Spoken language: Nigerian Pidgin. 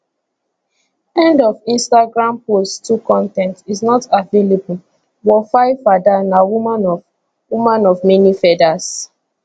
end of instagram post 2 con ten t is not available wofaifada na woman of woman of many feathers